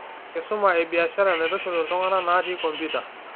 Enkisuma ebiashara naitushul iltung'anaknatii kompita.